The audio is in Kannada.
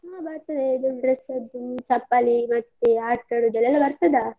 ಹಾ ಬರ್ತದೆ ಇದು dress ಅದ್ದು, ಚಪ್ಪಲಿ ಮತ್ತೆ ಆಟ ಆಡುದೆಲ್ಲ ಎಲ್ಲ ಬರ್ತದಾ.